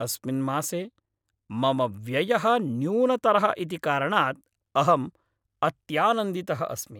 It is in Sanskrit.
अस्मिन् मासे, मम व्ययः न्यूनतरः इति कारणात् अहम् अत्यानन्दितः अस्मि।